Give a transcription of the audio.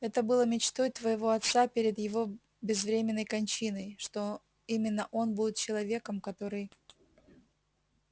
это было мечтой твоего отца перед его безвременной кончиной что именно он будет человеком который